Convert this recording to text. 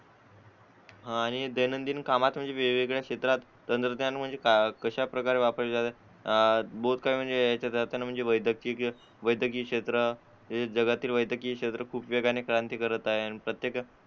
आणि दैनंदिन कामात म्हणजे वेगवेगळ्या क्षेत्रात तंत्रज्ञान म्हणजे कशाप्रकारे वापरले जाते अं बहुत सारे म्हणजे वैद्यकीय वैद्यकीय क्षेत्र जगातील वैद्यकीय क्षेत्र हे खूप वेगाने क्रांती करत आहे